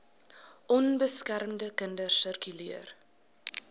onbeskermde kinders sirkuleer